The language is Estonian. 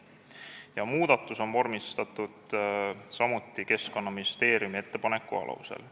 Muudatus on vormistatud samuti Keskkonnaministeeriumi ettepaneku alusel.